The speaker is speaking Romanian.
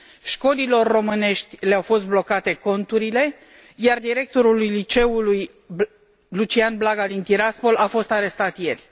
Școlilor românești le au fost blocate conturile iar directorul liceului Lucian Blaga din Tiraspol a fost arestat ieri.